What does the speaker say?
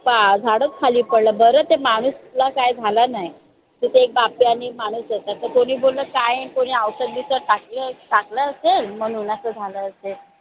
झाडच खाली पडलं बर त्या मानुसला काही झालं नई तिथे एक बाप्या आणि एक मानूस होता कोणी बोललं काय कोणी औषध बिवषध टाकलं टाकलं असलं म्ह्णून असं झालं असेल